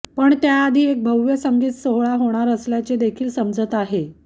पण त्या आधी एक भव्य संगीत सोहळा होणार असल्याचे देखील समजत आहे